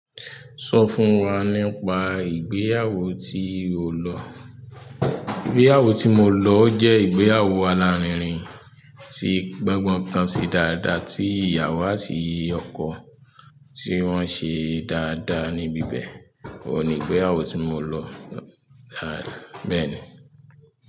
Sọ fún wa nípa ìgbéyàwó tí o lọ́. Ìgbéyàwó tí mo lọ jẹ́ ìgbéyàwó alárinrin tí gbọ́ngbọ́n kan ṣe dáadáa tí ìyàwó àti ọkọ tí wọ́n ṣe dáadáa níbi bẹ́ẹ̀. Óun ní ìgbéyàwó tí mo lọ, bẹ́ẹ̀ ni.